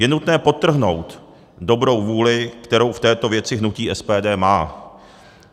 Je nutné podtrhnout dobrou vůli, kterou v této věci hnutí SPD má.